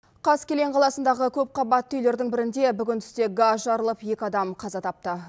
қаскелең қаласындағы көпқабатты үйлердің бірінде бүгін түсте газ жарылып екі адам қаза тапты